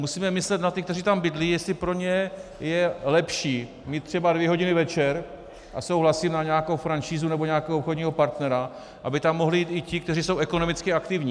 Musíme myslet na ty, kteří tam bydlí, jestli pro ně je lepší mít třeba dvě hodiny večer, a souhlasím, na nějakou franšízu nebo nějakého obchodního partnera, aby tam mohli jít i ti, kteří jsou ekonomicky aktivní.